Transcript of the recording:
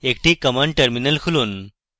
একটি command terminal খুলুন